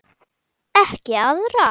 Ekki arða.